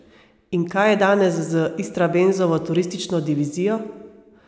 In kaj je danes z Istrabenzovo turistično divizijo?